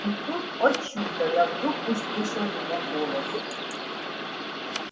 и тут о чудо я вдруг услышала его голос